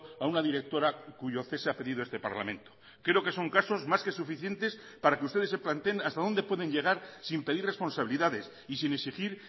a una directora cuyo cese ha pedido este parlamento creo que son casos más que suficientes para que ustedes se planteen hasta dónde pueden llegar sin pedir responsabilidades y sin exigir